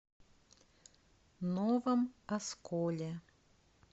новом осколе